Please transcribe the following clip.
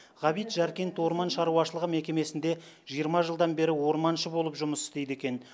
ғабит жаркент орман шаруашылығы мекемесінде жиырма жылдан бері орманшы болып жұмыс істейді екен